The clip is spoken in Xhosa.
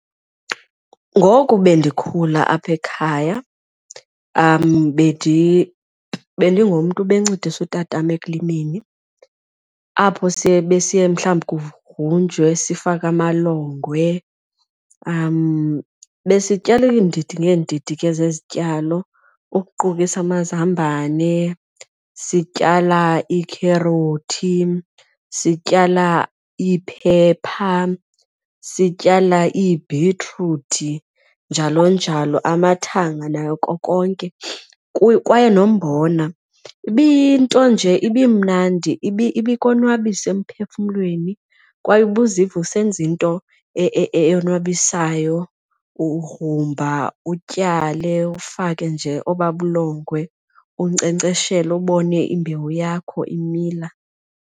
Ngoku bendikhula apha ekhaya bendingumntu obencedisa utata wam ekulimeni apho siye besiye mhlawumbi kugrunjwe sifake amalongwe. Besityala iindidi ngeendidi ke zezityalo ukuqukisa amazambane, sityala iikherothi, sityala ii-pepper, sityala iibhitruthi njalo njalo, amathanga nako konke kwaye nombona. Ibiyinto nje ibimnandi ibikonwabisa emphefumlweni kwaye ubuziva usenza into eyonwabisayo, ugrumba utyale ufake nje obaa bulongwe unkcenkceshela ubone imbewu yakho imila.